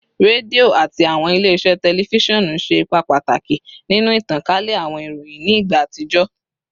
Redio ati awọn ile-iṣẹ tẹlifisiọnu ṣe ipa pataki ninu itankale awọn iroyin ni igba atijọ